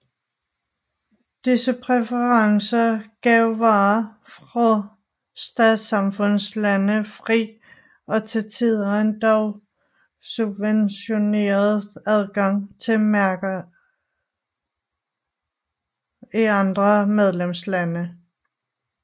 Disse præferencer gav varer fra Statssamfundslande fri og til tider endog subventioneret adgang til markederne i andre medlemslande